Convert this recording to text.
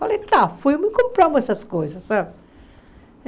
Falei, tá, fomos e compramos essas coisas, sabe?